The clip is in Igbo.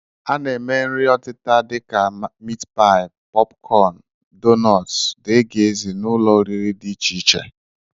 A na-ere nri ọtịta dịka miit paị, pọp kọọnụ, donọt, dgz n'ụlọ oriri dị icheiche